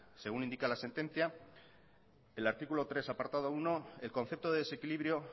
según indica la sentencia el artículo tres apartado uno el concepto de desequilibrio